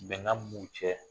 Bɛnkan min b'u cɛ